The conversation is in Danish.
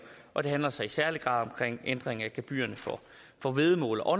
og det handler så i særlig grad om ændring af gebyrerne for for væddemål og